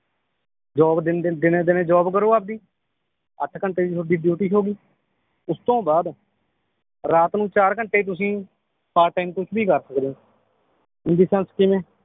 job ਦਿਨ ਦਿਨ ਦਿਨੇ ਦਿਨੇ ਜੌਬ ਕਰੋ ਆਪਦੀ ਅੱਠ ਘੰਟੇ ਦੀ ਤੁਹਾਡੀ ਡਿਊਟੀ ਹੋਗੀ ਉਸ ਤੋਂ ਬਾਅਦ ਰਾਤ ਨੂੰ ਚਾਰ ਘੰਟੇ ਤੁਸੀ part time ਕੁਛ ਵੀ ਕਰ ਸਕਦੇ ਓ in the sense ਕਿਵੇਂ